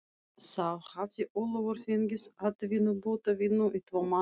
Þá hafði Ólafur fengið atvinnubótavinnu í tvo mánuði.